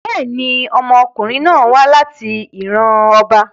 Bẹ́ẹ̀ni, ọmọkunrin náà wa lati iran ọba